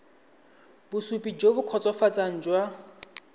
bosupi jo bo kgotsofatsang jwa